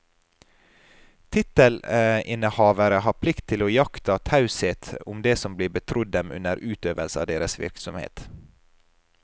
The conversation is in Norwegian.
Tittelinnehavere har plikt til å iaktta taushet om det som blir betrodd dem under utøvelse av deres virksomhet.